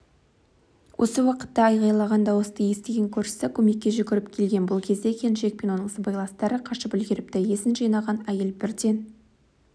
осы уақытта айғайлаған дауысты естіген көршісі көмекке жүгіріп келген бұл кезде келіншек пен оның сыбайластары қашып үлгеріпті есін жинаған әйел бірден